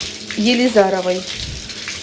елизаровой